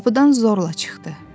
Qapıdan zorla çıxdı.